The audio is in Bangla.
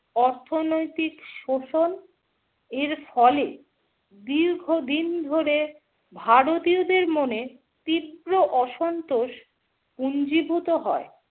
অর্থনৈতিক শোষণ এর ফলে দীর্ঘদিন ধরে ভারতীয়দের মনে তীব্র অসন্তোষ পুঞ্জিভূত হয় ।